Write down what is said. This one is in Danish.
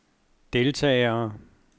deltagere